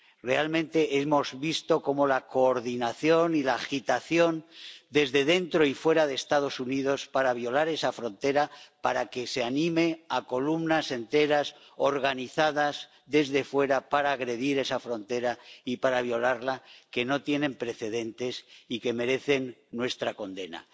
Realmente, hemos visto una coordinación y agitación, desde dentro y fuera de Estados Unidos, para violar esa frontera, para animar a columnas enteras, organizadas desde fuera, a agredir esa frontera y a violarla, que no tienen precedentes y que merecen nuestra condena.